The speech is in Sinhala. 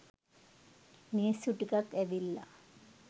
මිනිස්සු ටිකක් ඇවිල්ලා